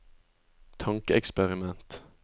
tankeeksperiment